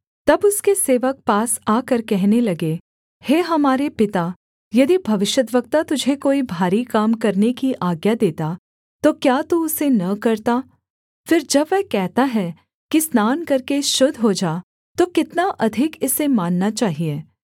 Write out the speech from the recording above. तब उसके सेवक पास आकर कहने लगे हे हमारे पिता यदि भविष्यद्वक्ता तुझे कोई भारी काम करने की आज्ञा देता तो क्या तू उसे न करता फिर जब वह कहता है कि स्नान करके शुद्ध हो जा तो कितना अधिक इसे मानना चाहिये